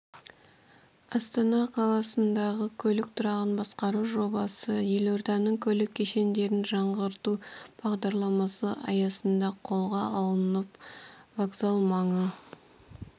астана қаласындағы көлік тұрағын басқару жобасы елорданың көлік кешендерін жаңғырту бағдарламасы аясында қолға алынып вокзал маңы